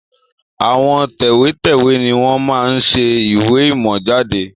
Àwọn tẹ̀wẹ́tẹ́wẹ́ ni wọn máa ń ṣe ìwé ìmọ̀ jáde